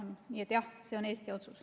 Nii et jah, see on Eesti otsus.